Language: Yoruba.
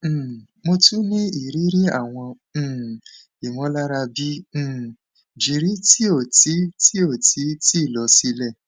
um mo tun ni iriri awọn um imọlara bi um giri ti o ti ti o ti lọ silẹ